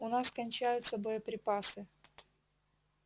у нас кончаются боеприпасы